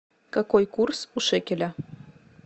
какой курс у шекеля